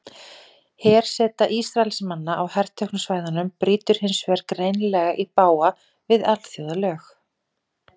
Herseta Ísraelsmanna á herteknu svæðunum brýtur hins vegar greinilega í bága við alþjóðalög.